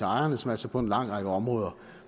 ejerne som altså på en lang række områder